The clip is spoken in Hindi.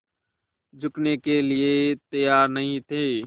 झुकने के लिए तैयार नहीं थे